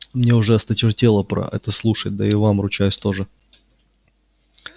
мне уже осточертело про это слушать да и вам ручаюсь тоже